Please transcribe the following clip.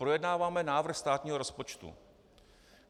Projednáváme návrh státního rozpočtu.